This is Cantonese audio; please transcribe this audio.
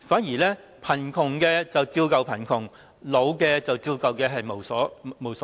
結果貧窮的人依舊貧窮，年老的人依舊老無所依。